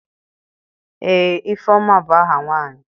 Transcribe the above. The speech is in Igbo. ee Ifeoma bu aha nwanyi